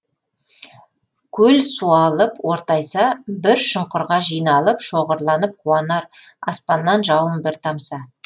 көл суалып ортайса бір шұңқырға жиналып шоғырланып қуанар аспаннан жауын бір тамса